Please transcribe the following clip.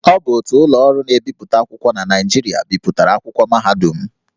Ọ bụ otu ụlọ ọrụ na-ebipụta akwụkwọ na Naịjirịa bipụtara akwụkwọ mahadum m